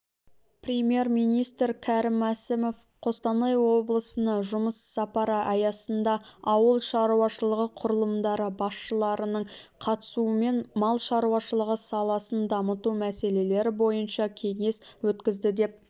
премьер-министрікәрім мәсімов қостанай облысына жұмыс сапары аясында ауыл шаруашылығы құрылымдары басшыларының қатысуымен мал шарушылығы саласын дамыту мәселелері бойынша кеңес өткізді деп